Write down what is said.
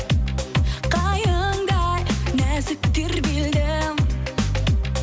қайыңдай нәзік тербелдім